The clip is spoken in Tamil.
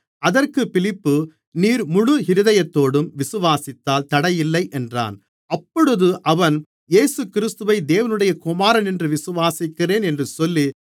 அதற்குப் பிலிப்பு நீர் முழு இருதயத்தோடும் விசுவாசித்தால் தடையில்லை என்றான் அப்பொழுது அவன் இயேசுகிறிஸ்துவை தேவனுடைய குமாரனென்று விசுவாசிக்கிறேன் என்று சொல்லி